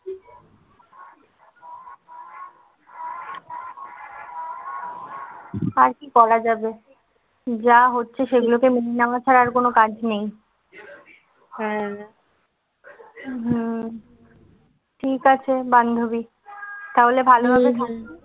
আর কি বলা যাবে? যা হচ্ছে সেগুলোকে ছাড়া আর কোন কাজ নেই. হ্যাঁ হুম ঠিক আছে বান্ধবী, তাহলে ভালোভাবে থাকিস